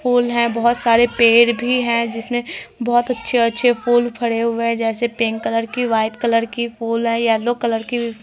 फूल हैं बहुत सारे पेड़ भी हैं जिसमें बहुत अच्छे अच्छे फूल पड़े हुए है जैसे पिंक कलर की वाइट कलर की फूल है येलो कलर की भी--